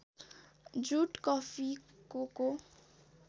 jute coffee Coca